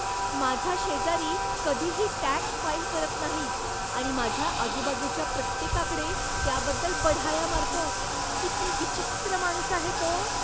माझा शेजारी कधीही टॅक्स फाईल करत नाही आणि माझ्या आजूबाजूच्या प्रत्येकाकडे त्याबद्दल बढाया मारतो. किती विचित्र माणूस आहे तो.